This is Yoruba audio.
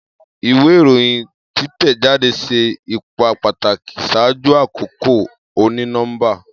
Iwe iroyin titẹjade ṣe ipa pataki ṣaaju akoko oni-nọmba.